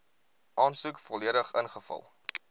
aansoek volledig ingevul